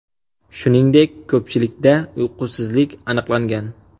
Shuningdek, ko‘pchilikda uyqusizlik aniqlangan.